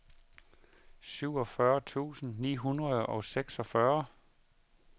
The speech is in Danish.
syvogfyrre tusind ni hundrede og seksogfyrre